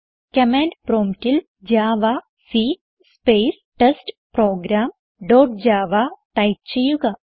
command promptൽ javac space test program dot Java type ചെയ്യുക